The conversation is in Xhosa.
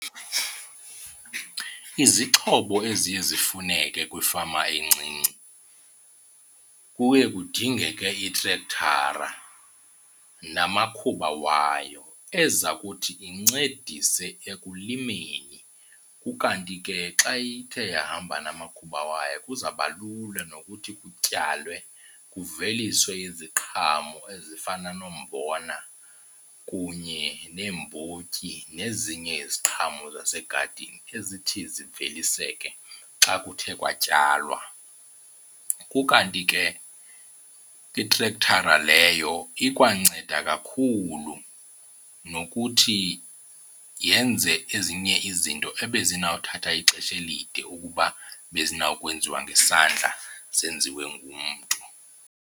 Izixhobo eziye zifuneke kwifama encinci kuye kudingeke itrektara namakhuba wayo eza kuthi incedise ekulimeni. Ukanti ke xa ithe yahamba namakhuba wayo kuzaba lula nokuthi kutyalwe kuveliswe iziqhamo ezifana nombona kunye neembotyi nezinye iziqhamo zasegadini ezithi ziveliseke xa kuthe kwatyalwa. Kukanti ke itrektara leyo ikwanceda kakhulu nokuthi yenze ezinye izinto ebezinawuthatha ixesha elide ukuba bezinawukwenziwa ngezandla zenziwe ngumntu.